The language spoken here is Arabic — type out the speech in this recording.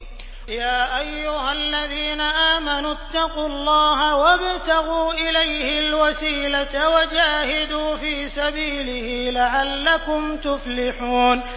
يَا أَيُّهَا الَّذِينَ آمَنُوا اتَّقُوا اللَّهَ وَابْتَغُوا إِلَيْهِ الْوَسِيلَةَ وَجَاهِدُوا فِي سَبِيلِهِ لَعَلَّكُمْ تُفْلِحُونَ